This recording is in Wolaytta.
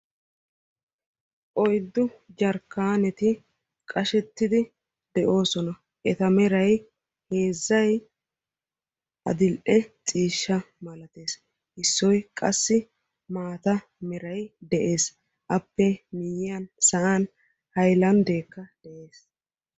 Oyddu jarkkanetti qashshettidi de'ossona, eta meraay heezzay adil"e ciishsha mallattes issoy qassi maataa meray de'ees. Appe guyiyaan sa'aan hayllanddekka de'ees.